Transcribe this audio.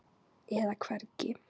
eða hvergi.